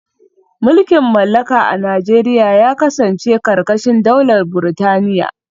Mulkin mallaka a Najeriya ya kasance karkashin daular Burtaniya